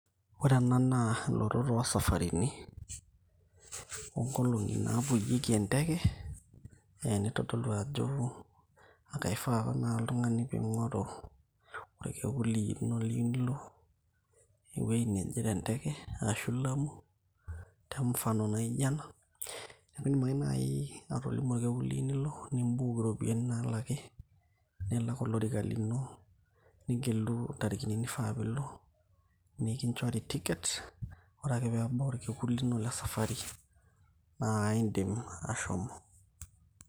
Ore ena naa ilotot oo saparitin o nkolong`i naapuyieki enteke neitodolu ajo e kifaa apa naa oltung`ani pee ing`oru orkekun lino liyieu nilo ewueji nenye te nteke ashu Lamu te mfano naijo ena. Niaku idim ake naaji atolimu olkekun liyieu nilo ni book irropiyiani naalaki, nilak olorika lino nigelu ntariki nifaa pee ilo nikinchori ticket. Ore akee pee ebau olkekun lino le sapari naa idim ake ashomo.